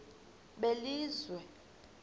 belizwe